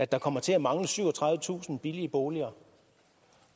der kommer til at mangle syvogtredivetusind billige boliger